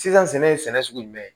Sisan sɛnɛ ye sɛnɛ sugu jumɛn ye